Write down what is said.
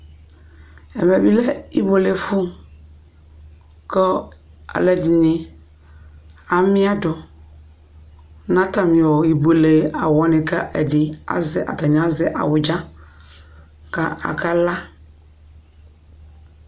Ɛvɛ bɩ lɛ ɛfɛ ibuelefʋ kʋ alʋɛdɩnɩ amɩadʋ nʋ atamɩ ibuele awʋ wanɩ kʋ ɛdɩ azɛ atanɩ azɛ awʋdza kʋ akala